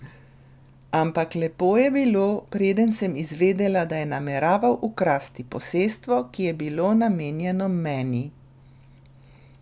Ampak lepo je bilo, preden sem izvedela, da je nameraval ukrasti posestvo, ki je bilo namenjeno meni.